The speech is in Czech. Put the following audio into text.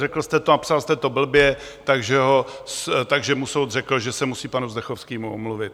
Řekl jste to a napsal jste to blbě, takže mu soud řekl, že se musí panu Zdechovskému omluvit.